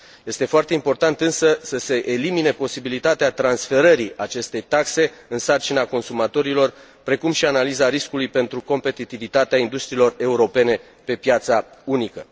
Este foarte important, însă, să se elimine posibilitatea transferării acestei taxe în sarcina consumatorilor, precum și analiza riscului pentru competitivitatea industriilor europene pe piața unică.